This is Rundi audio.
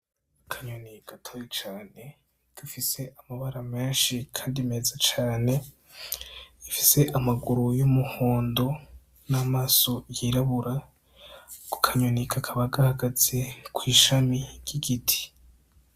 Akanyoni gatoyi cane gafise amabara menshi kandi meza cane, gafise amaguru y'umuhondo n'amaso yirabura. Ako kanyoni kakaba gahagaze kw'ishami ry'igiti.